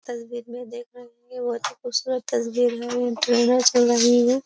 तस्वीर में देख रहे बहुत ही खूबसूरत तस्वीर है चल रही है।